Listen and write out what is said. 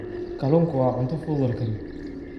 Kalluunku waa cunto fudud oo la kariyo.